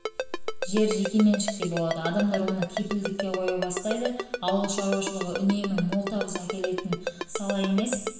болады адамдар оны кепілдікке қоя бастайды ауыл шаруашылығы үнемі мол табыс әкелетін сала емес ертең